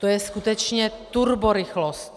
To je skutečně turborychlost!